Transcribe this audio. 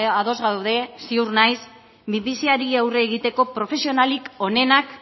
ados gaude ziur naiz minbiziari aurre egiteko profesionalik onenak